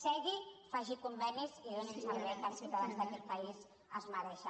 segui faci convenis i doni el servei que els ciutadans d’aquest país es mereixen